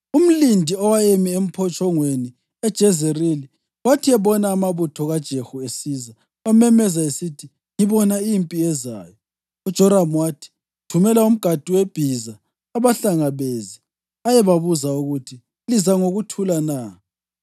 Umlindi owayemi emphotshongweni eJezerili wathi ebona amabutho kaJehu esiza, wamemeza esithi, “Ngibona impi ezayo.” UJoramu wathi, “Thumela umgadi webhiza abahlangabeze ayebabuza ukuthi, ‘Liza ngokuthula na?’ ”